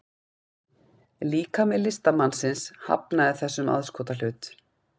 Líkami listamannsins hafnaði þessum aðskotahlut